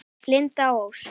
Linda Ósk.